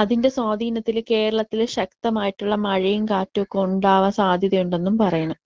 അതിന്റെ സ്വാധീനത്തിൽ കേരളത്തില്‍ ശക്തമായിട്ടുള്ള മഴേം കാറ്റുമൊക്കെ സാധ്യതയുണ്ടെന്നും പറയണ്.